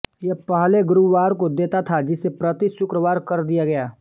यह पहले गुरुवार को देता था जिसे प्रति शुक्रवार कर दिया गया